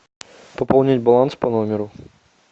пополнить баланс по номеру